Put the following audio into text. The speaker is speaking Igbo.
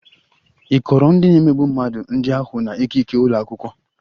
Ị kọọrọ ndị na-emegbu mmadụ ndị ahụ na ikike ụlọ akwụkwọ?